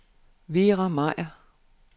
Vera Meyer